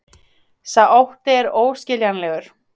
Sá ótti er óskiljanlegur